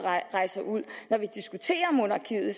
rejser ud når vi diskuterer monarkiet